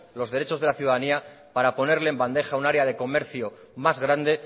los derechos de la ciudadanía para ponerle en bandeja un área de comercio más grande